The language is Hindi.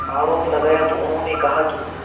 आरोप लगाया तो उन्होंने कहा कि